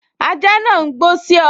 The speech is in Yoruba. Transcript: Ajá náà n gbó sí ọ